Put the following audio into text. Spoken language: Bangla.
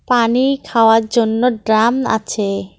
পানি খাওয়ার জন্য ড্রাম আছে।